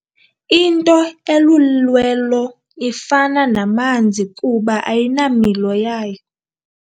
Into elulwelo ifana namanzi kuba ayinamilo yayo.